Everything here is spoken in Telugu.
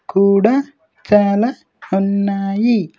కూడా చాలా ఉన్నాయి.